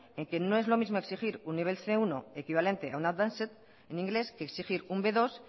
en que no es lo mismo exigir un nivel cien uno equivalente a un advanced en inglés que exigir un bmenos dos